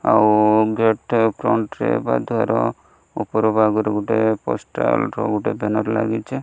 ଆଉ gate front ରେ ବା ଧର ଉପର ଭାଗରେ ଗୋଟେ ପୋଷ୍ଟାଲ ର ଗୋଟେ ବ୍ୟାନର୍ ଲାଗିଛି।